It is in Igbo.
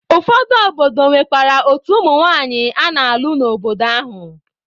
Ụfọdụ obodo nwekwara otu ụmụ nwanyị a na-alụ n'obodo ahụ.